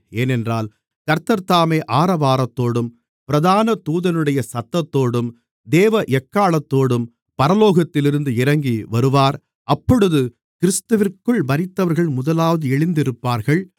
ஏனென்றால் கர்த்தர்தாமே ஆரவாரத்தோடும் பிரதான தூதனுடைய சத்தத்தோடும் தேவ எக்காளத்தோடும் பரலோகத்திலிருந்து இறங்கிவருவார் அப்பொழுது கிறிஸ்துவிற்குள் மரித்தவர்கள் முதலாவது எழுந்திருப்பார்கள்